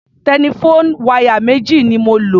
Telephone wire méjì ni mo lò.